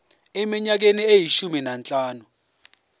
eminyakeni eyishumi nanhlanu